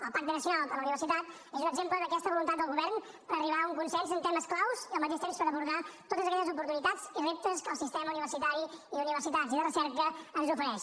el pacte nacional per a la universitat és un exemple d’aquesta voluntat del govern per arribar a un consens en temes clau i al mateix temps per abordar totes aquelles oportunitats i reptes que el sistema universitari i d’universitats i de recerca ens ofereix